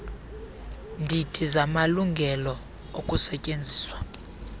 ndidi zamalungelo okusetyenziswa